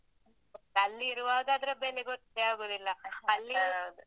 ಅಲ್ಲಿರುವಾಗ ಅದ್ರ ಬೆಲೆ ಗೊತ್ತೇ ಆಗುದಿಲ್ಲ.